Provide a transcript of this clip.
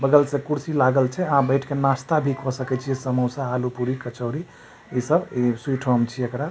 बगल से कुर्सी लागल छै आहां बैठ के नाश्ता भी क सकय छीये समोसा आलू पूरी कचौरी इ सब इ स्वीट होम छिए एकरा --